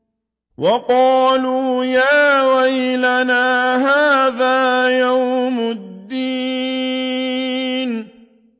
وَقَالُوا يَا وَيْلَنَا هَٰذَا يَوْمُ الدِّينِ